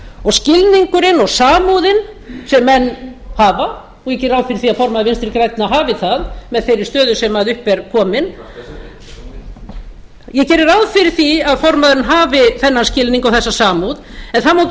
og skilningurinn og samúðin sem menn hafa og ég geri ráð fyrir því að formaður vinstri grænna hafi það með þeirri stöðu sem upp er komin ég geri ráð fyrir því að formaðurinn hafi þennan skilning og þessa samúð en það má ekki